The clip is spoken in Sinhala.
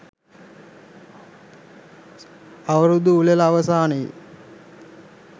අවුරුදු උළෙල අවසානයේ